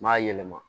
N m'a yɛlɛma